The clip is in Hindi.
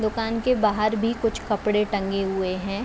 दुकान के बाहर भी कुछ कपड़े टंगे हुए हैं।